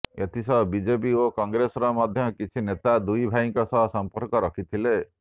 ଏଥିସହ ବିଜେପି ଓ କଂଗ୍ରେସର ମଧ୍ୟ କିଛି ନେତା ଦୁଇ ଭାଇଙ୍କ ସହ ସମ୍ପର୍କ ରଖିଥିଲେ